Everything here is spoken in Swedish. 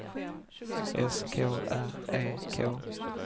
S K R E K